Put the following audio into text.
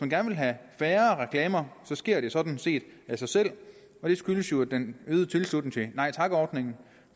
gerne vil have færre reklamer sker det sådan set af sig selv det skyldes jo den øgede tilslutning til nej tak ordningen